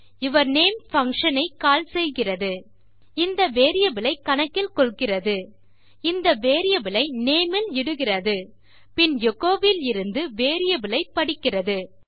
யூர்னமே function ஐ call செய்கிறது இந்த வேரியபிள் ஐ கணக்கில் கொள்கிறது இந்த வேரியபிள் ஐ நேம் இல் இடுகிறது பின் எச்சோ விலிருந்து வேரியபிள் ஐ படிக்கிறது